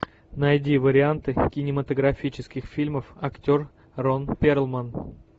найди варианты кинематографических фильмов актер рон перлман